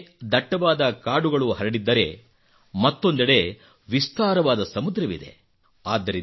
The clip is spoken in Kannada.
ಒಂದೆಡೆ ದಟ್ಟವಾದ ಕಾಡುಗಳು ಹರಡಿದ್ದರೆ ಮತ್ತೊಂದೆಡೆ ವಿಸ್ತಾರವಾದ ಸಮುದ್ರವಿದೆ